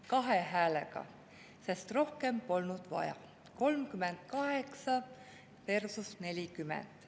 Kahe häälega, sest rohkem polnud vaja, 38 versus 40.